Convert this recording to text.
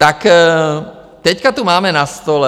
Tak teď tu máme na stole...